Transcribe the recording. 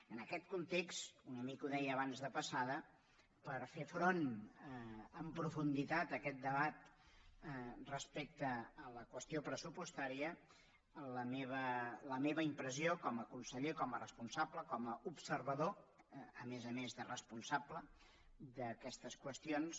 en aquest context una mica ho deia abans de passada per fer front amb profunditat a aquest debat respecte a la qüestió pressupostària la meva impressió com a conseller com a responsable com a observador a més a més de responsable d’aquestes qüestions